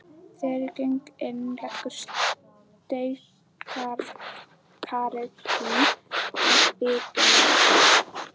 Þegar ég geng innfyrir leggur steikarilm að vitum mér.